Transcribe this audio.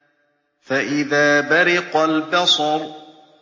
فَإِذَا بَرِقَ الْبَصَرُ